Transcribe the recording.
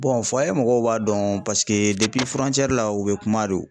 mɔgɔw b'a dɔn paseke la u be kuma de